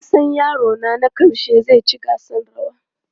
Na san yarona na ƙarshe zai ci gasar rawa.